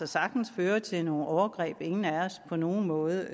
sagtens føre til nogle overgreb som ingen af os på nogen måde